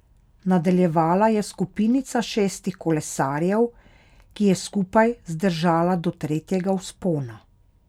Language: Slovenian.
Nadaljevala je skupinica šestih kolesarjev, ki je skupaj zdržala do tretjega vzpona.